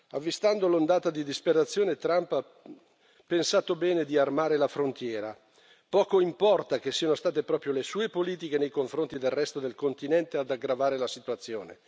Avvistando l'ondata di disperazione, Trump ha pensato bene di armare la frontiera, poco importa che siano state proprio le sue politiche nei confronti del resto del continente ad aggravare la situazione.